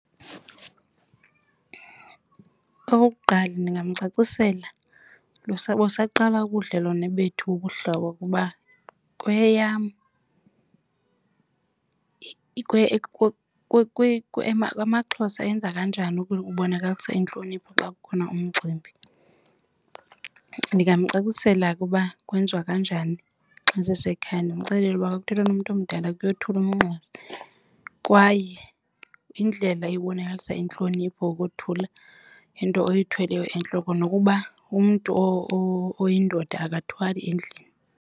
Okokuqala, ndingamcacisela busaqala ubudlelwane bethu bobuhlobo ukuba kweyam amaXhosa enza kanjani ukubonakalisa intlonipho xa kukhona umcimbi. Ndingamcacisela ke uba kwenziwa kanjani xa sisekhaya, ndimxelele ukuba xa kuthethwa nomntu omdala kuyothulwa umnqwazi kwaye yindlela ebonakalisa intlonipho ukothula into oyithweleyo entloko, nokuba umntu oyindoda akathwali endlini.